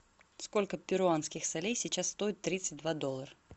сколько перуанских солей сейчас стоит тридцать два доллара